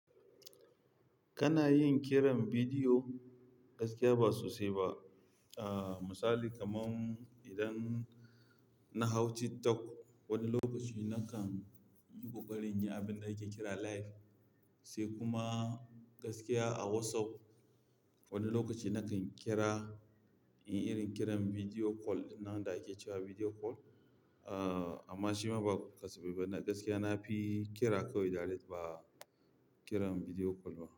Kana yin kiran bidiyo? Gaskiya ba sosai ba. Aaa, misali kamar idan na hau TikTok wani lokaci na kan yi ƙoƙari in yi abin da ake kira live. Sai kuma gaskiya a WhatsApp wani lokaci na kan kira in irin kiran video call nan da ake cewa video call. Aaa, amma shi ma ba kasafe bane. Gaskiya na fi kira kawai direct ba kiran video call ba.